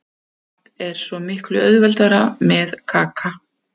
Allt er svo mikið auðveldara með Kaka.